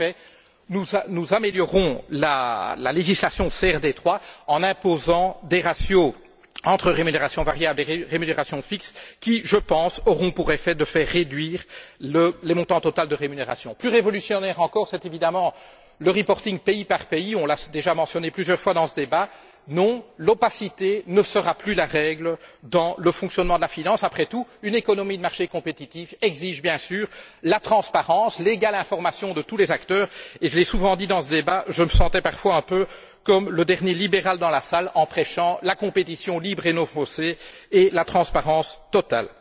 En effet, nous améliorons la législation CRD 3 en imposant des ratios entre rémunérations variables et rémunérations fixes qui, je pense, auront pour effet de réduire les montants totaux de rémunération. Plus révolutionnaire encore, c'est évidemment le reporting pays par pays. On l'a déjà mentionné plusieurs fois dans ce débat. Non, l'opacité ne sera plus la règle dans le fonctionnement de la finance. Après tout, une économie de marché compétitive exige bien sûr la transparence, l'égale information de tous les acteurs et, je l'ai souvent dit dans ce débat, je me sentais parfois un peu comme le dernier libéral dans la salle en prêchant la compétition libre et non faussée et la transparence totale.